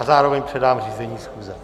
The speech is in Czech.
A zároveň předám řízení schůze.